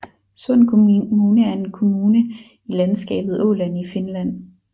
Sund kommune er en kommune i landskabet Åland i Finland